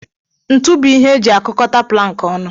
Ntu bu ihe eji akukọdo plank ọnụ.